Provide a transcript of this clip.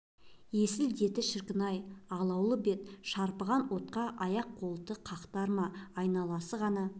есіл-дерті шіркін-ай алауы бет шарпыған отқа аяқ-қолымды қақтар ма айналасы ғана